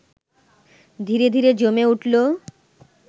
ধীরে ধীরে জমে উঠল